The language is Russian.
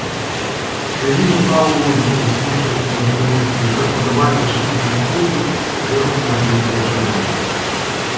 эллин устало улыбнулась слушая эту разноголосицу и как подобает почтительной супруге первому ответила джеральду